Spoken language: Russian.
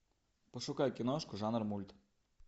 пошукай киношку жанр мульт